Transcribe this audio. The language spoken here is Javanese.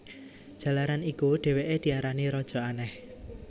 Jalaran iku dhèwèké diarani Raja Aneh